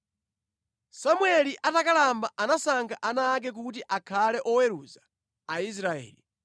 Samueli atakalamba anasankha ana ake kuti akhale oweruza Aisraeli.